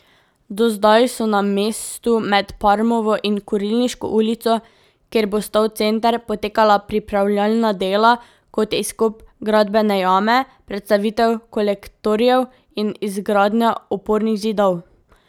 Do zdaj so na mestu med Parmovo in Kurilniško ulico, kjer bo stal center, potekala pripravljalna dela, kot je izkop gradbene jame, prestavitev kolektorjev in izgradnja opornih zidov.